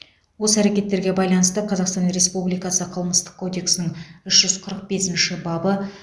осы әрекеттерге байланысты қазақстан республикасы қылмыстық кодексінің үш жүз қырық бесінші бабы